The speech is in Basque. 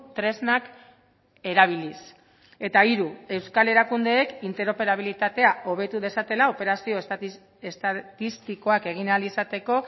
tresnak erabiliz eta hiru euskal erakundeek interoperabilitatea hobetu dezatela operazio estatistikoak egin ahal izateko